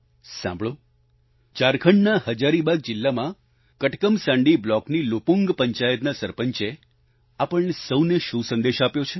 સાંભળો ઝારખંડના હજારીબાગ જિલ્લામાં કટકમસાંડી બ્લોકની લુપુંગ પંચાયતના સરપંચે આપણને સહુને શું સંદેશ આપ્યો છે